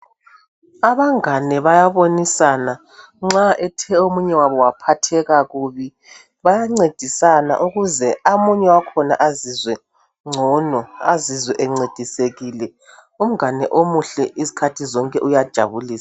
Abangane bayabonisana nxa ethe omunye wabo waphatheka kubi , bayancedisa ukuze amanye wakhona azizwe ngcono , azizwe encedisekile , umgane omuhle izikhathi zonke uyajabulisa